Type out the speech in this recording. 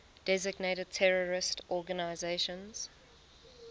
designated terrorist organizations